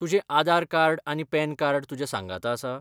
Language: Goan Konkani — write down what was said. तुजें आदार कार्ड आनी पॅन कार्ड तुज्या सांगाता आसा?